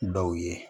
Dɔw ye